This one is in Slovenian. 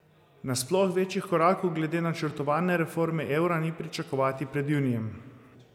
Na sploh večjih korakov glede načrtovane reforme evra ni pričakovati pred junijem.